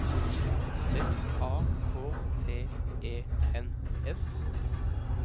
S A K T E N S